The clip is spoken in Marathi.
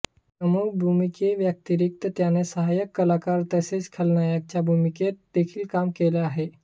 प्रमुख भूमिकेव्यतिरिक्त त्याने सहाय्यक कलाकार तसेच खलनायकाच्या भूमिकेत देखील काम केले आहे